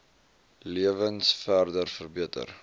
lewens verder verbeter